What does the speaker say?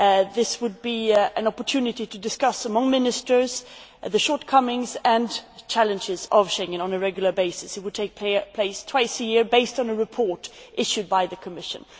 This would be an opportunity to discuss among Ministers the shortcomings and challenges of Schengen on a regular basis. It would take place twice a year based on a report issued by the Commission.